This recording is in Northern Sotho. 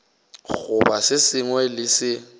goba se sengwe le se